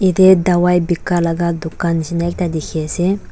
Yate dawai beka laga dukan nishna ekta dekhi ase.